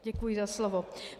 Děkuji za slovo.